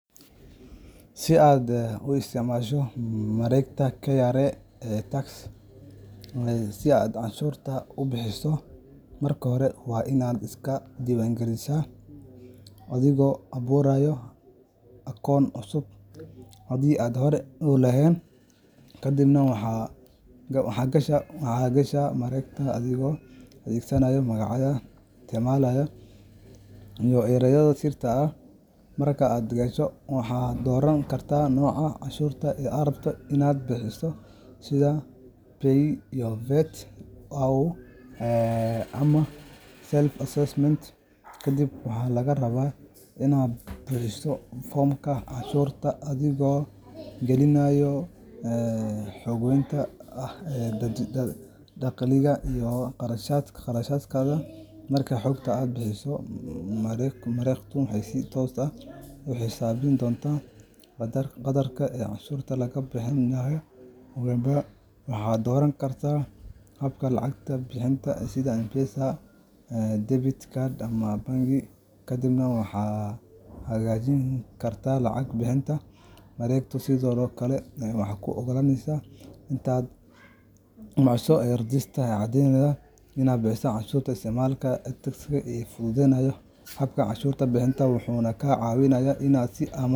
Si aad u isticmaasho mareegta KRA iTax si aad canshuurtaada u buuxiso, marka hore waa inaad iska diiwaangelisaa adigoo abuuraya akoon cusub haddii aadan hore u lahayn, kadibna waxaad gashaa mareegta adigoo adeegsanaya magacaaga isticmaale iyo erayga sirta ah. Marka aad gasho, waxaad dooran kartaa nooca canshuurta aad rabto inaad bixiso sida PAYE, VAT, au Self-Assessment. Kadib, waxaa lagaa rabaa inaad buuxiso foomamka canshuurta adigoo gelinaya xogta saxda ah ee dakhligaaga iyo kharashaadkaaga. Marka xogta la buuxiyo, mareegtu waxay si toos ah u xisaabin doontaa qadarka canshuurta lagaaga baahan yahay. Ugu dambeyn, waxaad dooran kartaa habka lacag bixinta sida M-Pesa, debit card, ama bangi, kadibna waxaad xaqiijin kartaa lacag bixinta. Mareegtu sidoo kale waxay kuu ogolaaneysaa inaad daabacato rasiidkaaga oo caddeyn u ah bixinta canshuurta. Isticmaalka iTax wuxuu fududeeyaa habka canshuur bixinta, wuxuuna kaa caawiyaa inaad si amaan.